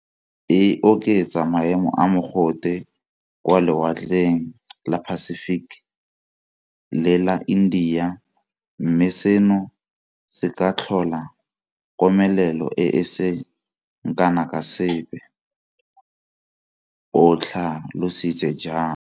E oketsa maemo a mogote kwa lewatleng la Pacific le la India, mme seno se ka tlhola komelelo e e seng kana ka sepe, o tlha lositse jalo.